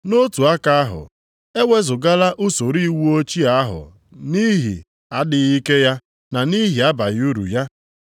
Nʼotu aka ahụ, e wezugala usoro iwu ochie ahụ nʼihi adịghị ike ya na nʼihi abaghị uru ya